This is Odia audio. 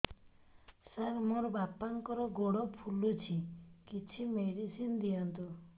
ସାର ମୋର ବାପାଙ୍କର ଗୋଡ ଫୁଲୁଛି କିଛି ମେଡିସିନ ଦିଅନ୍ତୁ